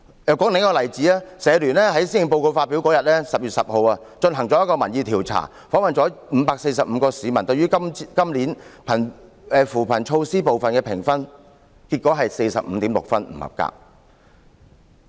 再舉另一個例子，香港社會服務聯會在施政報告發表當日，即10月10日，進行了一項民意調查，訪問了545名市民，了解他們對於今年扶貧措施部分的評分，結果為 45.6 分，得分不合格。